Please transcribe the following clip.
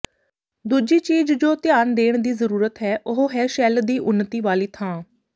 ਦੂਜੀ ਚੀਜ ਜੋ ਧਿਆਨ ਦੇਣ ਦੀ ਜ਼ਰੂਰਤ ਹੈ ਉਹ ਹੈ ਸ਼ੈਲ ਦੀ ਉੱਨਤੀ ਵਾਲੀ ਥਾਂ